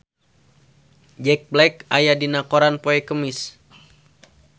Jack Black aya dina koran poe Kemis